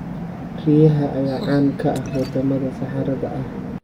Riyaha ayaa caan ka ah wadamada saxaraha ah.